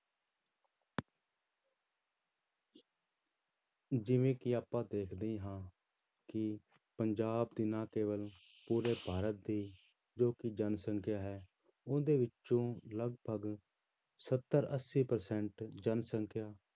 ਜਿਵੇਂ ਕਿ ਆਪਾਂ ਦੇਖਦੇ ਹੀ ਹਾਂ ਕਿ ਪੰਜਾਬ ਦੀ ਨਾ ਕੇਵਲ ਪੂਰੇ ਭਾਰਤ ਦੀ ਜੋ ਕਿ ਜਨਸੰਖਿਆ ਹੈ ਉਹਦੇ ਵਿੱਚੋਂ ਲਗਪਗ ਸੱਤਰ ਅੱਸੀ percent ਜਨਸੰਖਿਆ